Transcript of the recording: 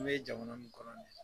An be jamana min kɔnɔ nin ye .